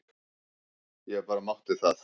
Ég bara mátti það!